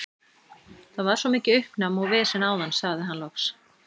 Það var svo mikið uppnám og vesen áðan, sagði hann loks.